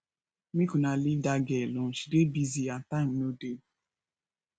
make una leave dat girl alone she dey busy and time no dey